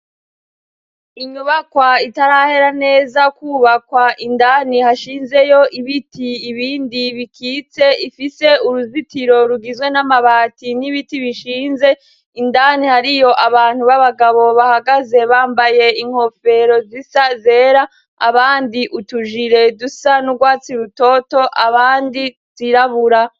Inyubakwa itarahera neza kwubakwa indani hashinzeyo ibiti ibindi bikitse, ifise uruzitiro rugizwe n'amabati n'ibiti bishinze, indani hariyo abantu b'abagabo bahagaze bambaye inkofero zisa zera abandi utujire dusa n'urwatsi rutoto abandi zirabura.